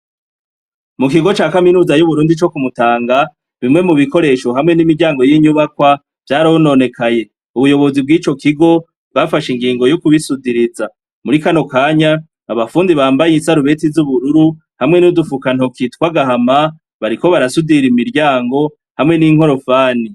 Mukigo ca kaminuza y'Uburundi co kumutanga bimwe mubikoresho hamwe n'imiryango y'inyubakwa vyarononekaye, Ubuyobozi bw'ico kigo bwafashe ingingo yokubisudiriza. Muri kano kanya abafundi bambaye isarubeti z'ubururu hamwe n'udufukantoki tw'agahama bariko barasudira imiryango hamwe n'Inkorofani.